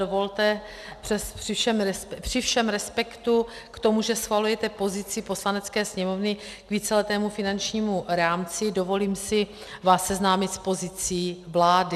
Dovolte při všem respektu k tomu, že schvalujete pozici Poslanecké sněmovny k víceletému finančnímu rámci, dovolím si vás seznámit s pozicí vlády.